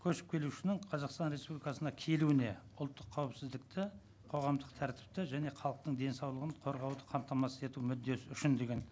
көшіп келушінің қазақстан республикасына келуіне ұлттық қауіпсіздікті қоғамдық тәртіпті және халықтың денсаулығын қорғауды қамтамасыз ету мүддесі үшін деген